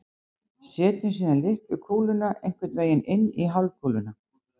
setjum síðan litlu kúluna einhvern veginn inn í hálfkúluna